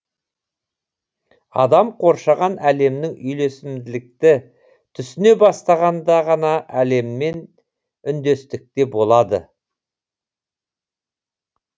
адам қоршаған әлеммен үйлесімділікті түсіне бастағанда ғана әлеммен үндестікте болады